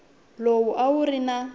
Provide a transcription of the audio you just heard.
lowu a wu ri na